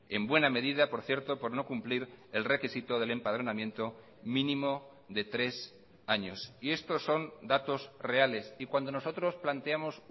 en buena medida por cierto por no cumplir el requisito del empadronamiento mínimo de tres años y estos son datos reales y cuando nosotros planteamos